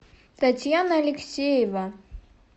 татьяна алексеева